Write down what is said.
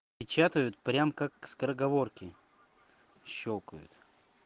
печатают прям как скороговорки щёлкают